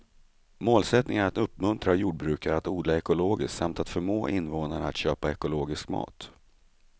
Målsättningen är att uppmuntra jordbrukare att odla ekologiskt samt att förmå invånarna att köpa ekologisk mat.